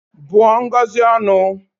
Bụọ Ngozi ọnụ!